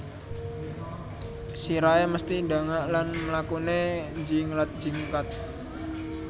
Sirahé mesthi ndangak lan mlakuné njinglat jingkat